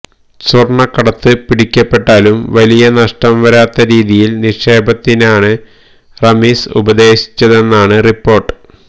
സ്വര്ണക്കടത്ത് പിടിക്കപ്പെട്ടാലും വലിയ നഷ്ടം വരാത്ത രീതിയില് നിക്ഷേപത്തിനാണ് റമീസ് ഉപദേശിച്ചതെന്നാണ് റിപ്പോര്ട്ട്